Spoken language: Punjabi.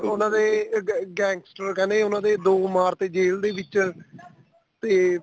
ਉਹਨਾ ਦੇ gangster ਕਹਿੰਦੇ ਉਹਨਾ ਦੇ ਦੋ ਮਾਰ ਤੇ ਜੈਲ ਦੇ ਵਿੱਚ ਤੇ